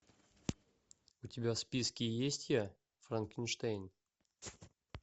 у тебя в списке есть я франкенштейн